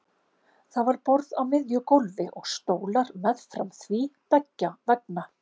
Það var borð á miðju gólfi og stólar meðfram því beggja vegna.